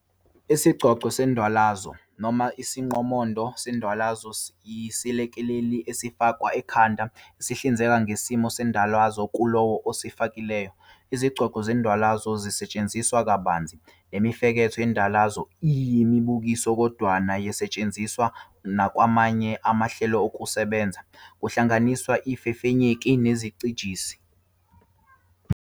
Isigcogco sendwalazo, noma isiqomondo sendwalazo, yisilekeleli esifakwa ekhanda esihlinzeka ngesimo sendwalazo kulowo osifakileyo. Izigcogco zendwalazo zisetshenziswa kabanzi nemifeketho yendwalazo eyimibukiso kodwana ziyasetshenziswa nakwamanye amahlelokusebenza, kuhlanganisa izifefenyeki nezicijisi.